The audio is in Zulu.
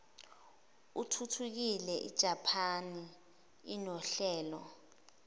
athuthukile ijaphani inohlelo